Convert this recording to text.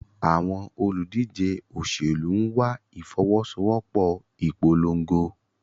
Àwọn olùdíje òṣèlú ń wá ìfọwọ́sowọ́pọ̀ ìpolongo.